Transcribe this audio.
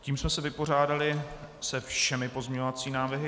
Tím jsme se vypořádali se všemi pozměňovacími návrhy.